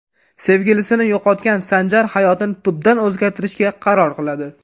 Sevgilisini yo‘qotgan Sanjar hayotini tubdan o‘zgartirishga qaror qiladi.